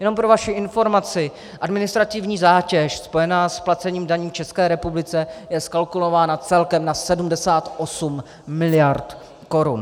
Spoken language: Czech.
Jenom pro vaši informaci, administrativní zátěž spojená s placením daní České republice je zkalkulována celkem na 78 miliard korun.